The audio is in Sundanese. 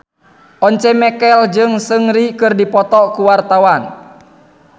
Once Mekel jeung Seungri keur dipoto ku wartawan